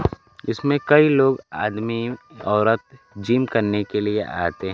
इसमें कई लोग आदमी औरत जिम करने के लिए आते--